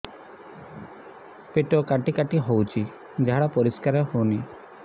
ପେଟ କାଟି କାଟି ହଉଚି ଝାଡା ପରିସ୍କାର ହଉନି